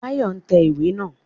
Báyọ̀ n tẹ̀ iwé naa